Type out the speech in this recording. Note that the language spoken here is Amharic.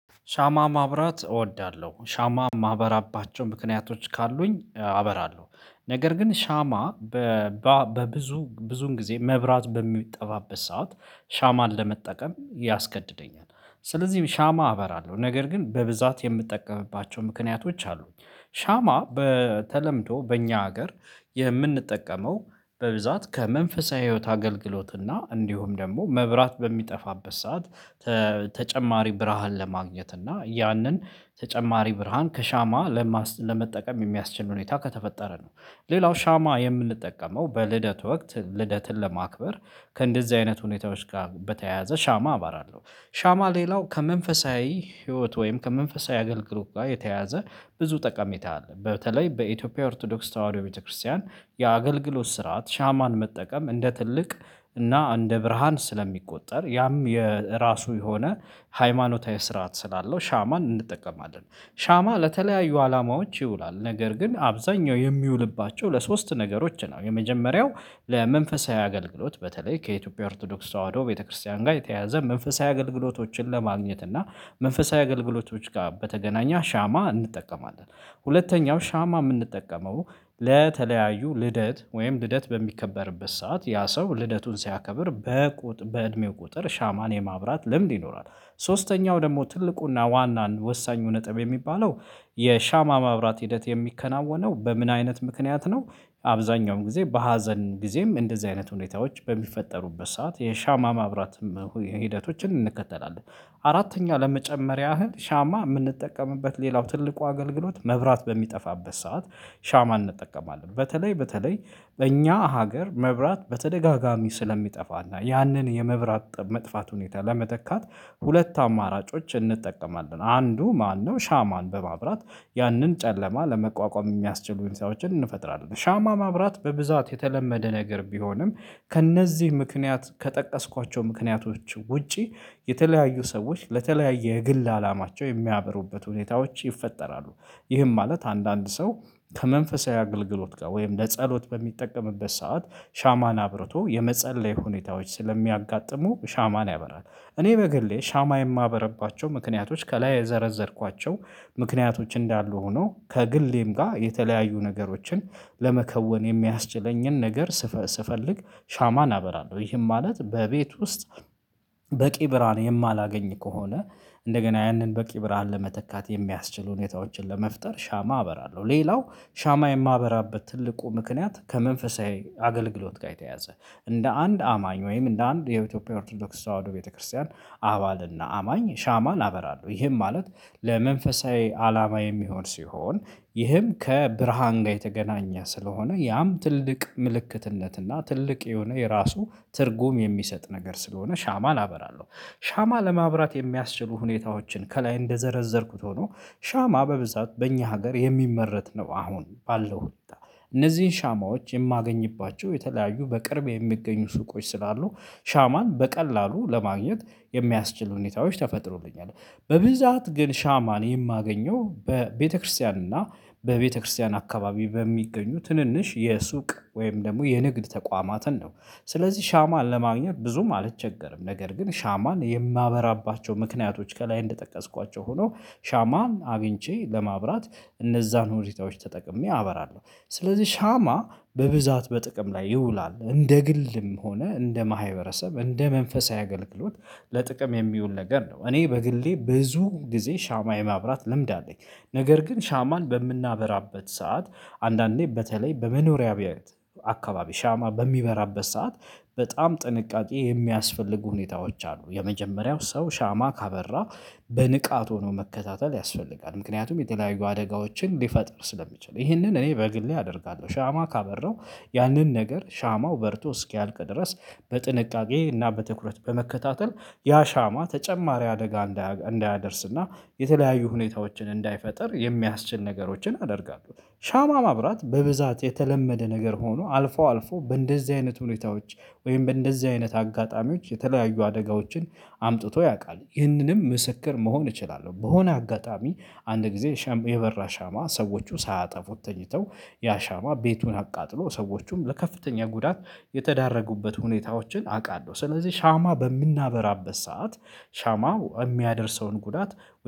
ሻማ ማብራት እወዳለሁ። ሻማ ማበራባቸው ምክንያቶች ካሉኝ አበራለሁ ነገር ግን ሻማ በብዙ ብዙን ጊዜ መብራት በሚጠባበስ ሰዓት ሻማን ለመጠቀም ያስገድደኛል። ስለዚህ ሻማ አበራለሁ ነገር ግን በብዛት የምጠቀምባቸው ምክንያቶች አሉኝ ሻማ በተለምዶ በእኛ ሀገር የምንጠቀመው በብዛት ከመንፈሳዊ ህይወት አገልግሎት እና እንዲሁም ደግሞ መብራት በሚጠፋበት ሰዓት ተጨማሪ ብርሃን ለማግኘት እና ያንን ተጨማሪ ብርሃን ከሻማ ለመጠቀም የሚያስችል ሁኔታ ከተፈጠረ ነው። ሌላው ሻማ የምንጠቀመው በልደት ወቅት ልደትን ለማክበር ከእንደዚህ አይነት ሁኔታዎች ጋር በተያያዘ ሻማ አባራለሁ። ሻማ ሌላው ከመንፈሳዊ ህይወት ወይም ከመንፈሳዊ አገልግሎት ጋር የተያዘ ብዙ ጠቃሚታ አለ በተለይ በኢትዮጵያ ኦርቶዶክስ ተዋህዶ ቤተክርስቲያን የአገልግሎት ስርዓት ሻማን መጠቀም እንደ ትልቅ እና እንደ ብርሃን ስለሚቆጠር ያም የራሱ የሆነ ሃይማኖታዊ ስርዓት ስላለው ሻማን እንጠቀማለን። ሻማ ለተለያዩ አላማዎች ይውላል ነገር ግን አብዛኛው የሚውልባቸው ለሶስት ነገሮች ነው። የመጀመሪያው ለመንፈሳዊ አገልግሎት በተለይ ከኢትዮጵያ ኦርቶዶክስ ተዋህዶ ቤተክርስቲያን ጋር የተያዘ መንፈሳዊ አገልግሎቶችን ለማግኘት እና መንፈሳዊ አገልግሎቶች ጋር በተገናኘ ሻማ እንጠቀማለን። ሁለተኛው ሻማ የምንጠቀመው ለተለያዩ ልደት ወይም ልደት በሚከበርበት ሰዓት ያ ሰው ልደቱን ሲያከብር በቁጥ በእድሜው ቁጥር ሻማን የማብራት ልምድ ይኖራል። ሶስተኛው ደግሞ ትልቁና ዋናን ወሳኙ ነጥብ የሚባለው የሻማ ማብራት ሂደት የሚከናወነው በምን አይነት ምክንያት ነው አብዛኛውን ጊዜ በሀዘን ጊዜም እንደዚህ አይነት ሁኔታዎች በሚፈጠሩበት ሰዓት የሻማ ማብራትም ሂደቶችን እንከተላለን። አራተኛ ለመጨመር ያህል ሻማ የምንጠቀምበት ሌላው ትልቁ አገልግሎት መብራት በሚጠፋበት ሰዓት ሻማ እንጠቀማለን። በተለይ በተለይ በእኛ ሀገር መብራት በተደጋጋሚ ስለሚጠፋና ያንን የመብራት መጥፋት ሁኔታ ለመተካት ሁለት አማራጮች እንጠቀማለን አንዱ ማነው ሻማን በማብራት ያንን ጨለማ ለመቋቋም የሚያስችሉኝ ሰዎችን እንፈጥራለን። ሻማ ማብራት በብዛት የተለመደ ነገር ቢሆንም ከእነዚህ ምክንያት ከጠቀስኳቸው ምክንያቶች ውጪ የተለያዩ ሰዎች ለተለያየ የግል አላማቸው የሚያበሩበት ሁኔታዎች ይፈጠራሉ። ይህም ማለት አንዳንድ ሰው ከመንፈሳዊ አገልግሎት ጋር ወይም ለጸሎት በሚጠቀምበት ሰዓት ሻማን አብርቶ የመጸለይ ሁኔታዎች ስለሚያጋጥሙ ሻማን ያበራል እኔ በግሌ ሻማ የማበርባቸው ምክንያቶች ከላይ የዘረዘርኳቸው ምክንያቶች እንዳሉ ሆኖ ከግሌም ጋር የተለያዩ ነገሮችን ለመከወን የሚያስችለኝን ነገር ስፈልግ ሻማ አበራለሁ። ይህም ማለት በቤት ውስጥ በቂ ብርሃን የማላገኝ ከሆነ እንደገና ያንን በቂ ብርሃን ለመተካት የሚያስችሉ ሁኔታዎችን ለመፍጠር ሻማ አበራለሁ። ሌላው ሻማ የማህበራበት ትልቁ ምክንያት ከመንፈሳዊ አገልግሎት ጋር የተያዘ፤ እንደ አንድ አማኝ ወይም እንደ አንድ የኢትዮጵያ ኦርቶዶክስ ተዋህዶ ቤተክርስቲያን አባልና አማኝ ሻማ አበራለሁ። ይሄም ማለት ለመንፈሳዊ አላማ የሚሆን ሲሆን ይህም ከብርሃን ጋር የተገናኘ ስለሆነ ያም ትልቅ ምልክትነትና ትልቅ የሆነ የራሱ ትርጉም የሚሰጥ ነገር ስለሆነ ሻማ አበራለው። ሻማ ለማብራት የሚያስችሉ ሁኔታዎችን ከላይ እንደዘረዘርኩት ሆኖ ሻማ በብዛት በእኛ ሀገር የሚመረት ነው አሁን ባለው ሁኔታ እነዚህን ሻማዎች የማገኝባቸው የተለያዩ በቅርብ የሚገኙ ሱቆች ስላሉ ሻማን በቀላሉ ለማግኘት የሚያስችሉ ሁኔታዎች ተፈጥሮልኛል። በብዛት ግን ሻማን የማገኘው በቤተክርስቲያን እና በቤተክርስቲያን አካባቢ በሚገኙ ትንንሽ የሱቅ ወይም ደግሞ የንግድ ተቋማትን ነው። ስለዚህ ሻማ ለማግኘት ብዙም አልቸገርም ነገር ግን ሻማን የማበራባቸው ምክንያቶች ከላይ እንደጠቀስኳቸው ሆኖ ሻማን አግኝቼ ለማብራት እነዛን ሁኔታዎች ተጠቅሜ አበራለሁ። ስለዚህ ሻማ በብዛት በጥቅም ላይ ይውላል እንደ ግልም ሆነ እንደ ማህበረሰብ እንደ መንፈሳዊ አገልግሎት ለጥቅም የሚውል ነገር ነው። እኔ በግሌ ብዙ ጊዜ ሻማ የማብራት ልምድ አለኝ። ነገር ግን ሻማን በምናበራበት ሰዓት አንዳንዴ በተለይ በመኖሪያ ቤት አካባቢ ሻማ በሚበራበት ሰዓት በጣም ጥንቃቄ የሚያስፈልጉ ሁኔታዎች አሉ የመጀመሪያው ሰው ሻማ ካበራ በንቃት ሆኖ መከታተል ያስፈልጋል። ምክንያቱም የተለያዩ አደጋዎችን ሊፈጥር ስለሚችል ይህንን እኔ በግሌ አደርጋለሁ ሻማ ካበራው ያንን ነገር ሻማው በርቶ እስኪያልቅ ድረስ በጥንቃቄ እና በትኩረት በመከታተል ያ ሻማ ተጨማሪ አደጋ እንዳያደርስና የተለያዩ ሁኔታዎችን እንዳይፈጥር የሚያስችል ነገሮችን አደርጋለሁ። ሻማ ማብራት በብዛት የተለመደ ነገር ሆኖ አልፎ አልፎ በእንደዚህ አይነት ሁኔታዎች ወይም በእንደዚህ አይነት አጋጣሚዎች የተለያዩ አደጋዎችን አምጥቶ ያውቃል። ይህንንም ምስክር መሆን እችላለሁ። በሆነ አጋጣሚ አንድ ጊዜ የበራ ሻማ ሰዎቹ ሳያጠፉት ተኝተው ያ ሻማ ቤቱን አቃጥሎ ሰዎቹም ለከፍተኛ ጉዳት የተዳረጉበት ሁኔታዎችን አውቃለሁ። ስለዚህ ሻማ በምናበራበት ሰዓት ሻማው የሚያደርሰውን ጉዳት